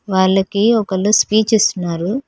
వాళ్లకి ఒకళ్ళు స్పీచ్ ఇస్తున్నారు.